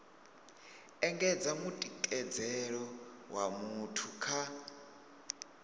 engedza mutikedzelo wa muthu kha